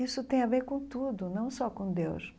Isso tem a ver com tudo, não só com Deus.